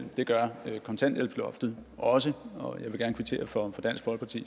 det gør kontanthjælpsloftet også og jeg vil gerne kvittere for dansk folkepartis